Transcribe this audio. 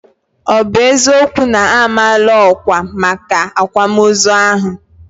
Ọ bụ eziokwu na a maala ọkwà maka akwamozu ahụ?